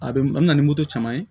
A bɛ na ni moto caman ye